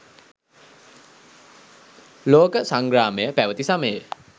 ලෝක සංග්‍රාමය පැවති සමයේ